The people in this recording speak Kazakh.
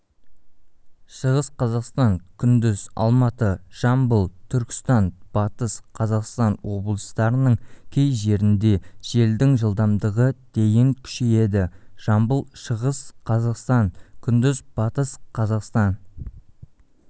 шығыс қазақстан күндіз алматы жамбыл түркістан батыс қазақстан облыстарының кей жерінде желдің жылдамдығы дейін күшейеді жамбыл шығыс қазақстан күндіз батыс қазақстан